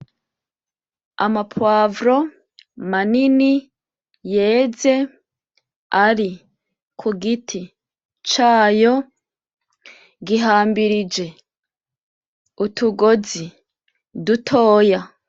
Ama "poivron" manini yeze ari ku giti cayo, gihambirije utugozi dutoya.